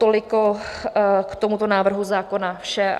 Toliko k tomuto návrhu zákona, vše.